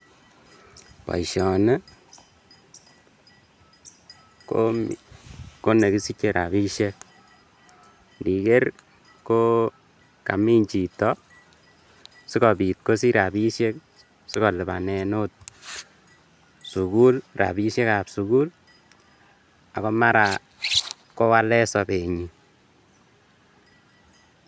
Boishoni ko nekisiche rabishek, indiker ko Kamin chito sikobit kosich rabishek sikolibanen oot sukul, rabishekab sukul ak komara kowalen sobenyin.